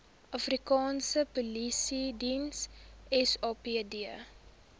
afrikaanse polisiediens sapd